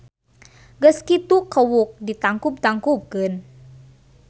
Geus kitu kewuk ditangkub-tangkubkeun.